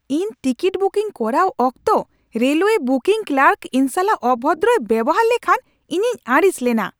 ᱤᱧ ticket booking ᱠᱚᱨᱟᱣ ᱚᱠᱛᱚ ᱨᱮᱞᱣᱮ ᱵᱩᱠᱤᱝ ᱠᱞᱟᱨᱠ ᱤᱧ ᱥᱟᱞᱟᱜ ᱚᱵᱷᱚᱫᱨᱚᱭ ᱵᱮᱣᱦᱟᱨ ᱞᱮᱠᱷᱟᱱ ᱤᱧᱤᱧ ᱟᱹᱲᱤᱥ ᱞᱮᱱᱟ ᱾